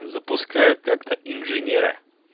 запускают как-то инженера